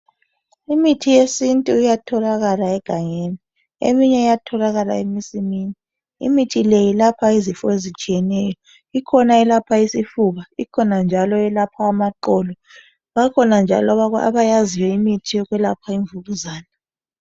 Imithi yesintu iyatholakala egangeni eminye iyatholakala emasini. Imithi le yelapha ikhona eyelapha isifuba, ikhona njalo eyelaapha amaqolo. Bakhona njalo abayaziyo imithi yokwelapha imvukuzane.